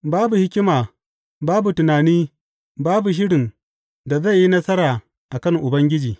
Babu hikima, babu tunani, babu shirin da zai yi nasara a kan Ubangiji.